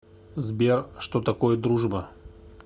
сбер что такое дружба